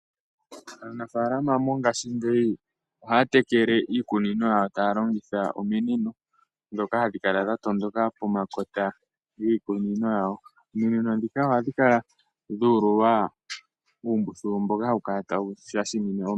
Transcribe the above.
Aanafaalama yongashingeyi ohaya tekele iimeno yawo taya longitha ominino, ndhoka hadhi kala dha tondoka, pomakota giikunino yawo. Ominino ndhika ohadhi kala dhu ululwa uumbuthulu mboka hawu kala tawu shashamine omeya.